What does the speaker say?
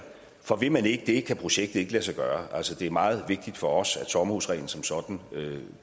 for vil man ikke det kan projektet ikke lade sig gøre altså det er meget vigtigt for os at sommerhusreglen som sådan